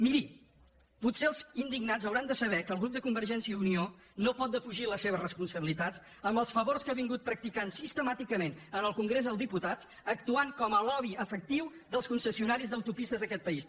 miri potser els indignats hauran de saber que el grup de convergència i unió no pot defugir les seves responsabilitats en els favors que ha practicat sistemàticament en el congrés dels diputats actuant com a lobby efectiu dels concessionaris d’autopistes d’aquest país